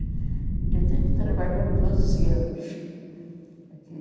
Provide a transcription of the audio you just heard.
Ainda tenho que trabalhar doze anos aqui.